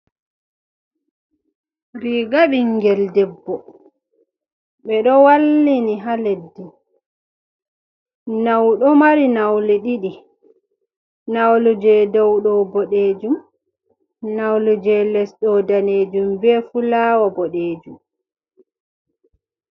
Riga bingel ɗebbo be ɗo wallini ha leɗɗi. Nau ɗo mari naule ɗiɗi. Naulu je ɗau ɗo boɗejum. Naulu je lesɗo nɗanejum, be fulawo boɗejum.